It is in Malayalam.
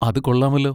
അത് കൊള്ളാമല്ലോ!